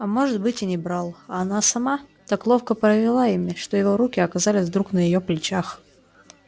а может быть и не брал а она сама так ловко провела ими что его руки оказались вдруг на её плечах